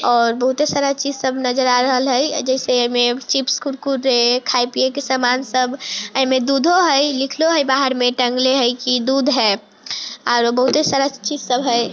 और बहुते सारा चीज़ सब नजर आ रहले हेय जैसे एमे चिप्स कुरकुरे खाए पिए के सामान सब इम्मे दूधो हेय लिखलो हेय बाहर में टांगएले हेय की दूध हेय आरो बहुते सारा चीज सब हेय।